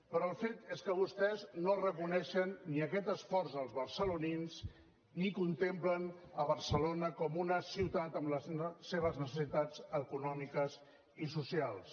però el fet és que vostès no reconeixen ni aquest esforç als barcelonins ni contemplen barcelona com una ciutat amb les seves necessitats econòmiques i socials